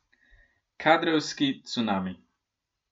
Kadrovski cunami.